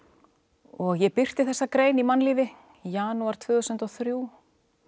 og ég birti þessa grein í mannlífi í janúar tvö þúsund og þrjú